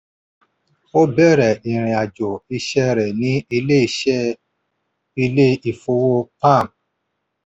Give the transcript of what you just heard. ó bẹ̀rẹ̀ ìrìnàjò iṣẹ́ rẹ̀ ni ilé iṣẹ́ ilé ìfowó-pam